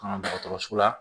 An ka dɔgɔtɔrɔso la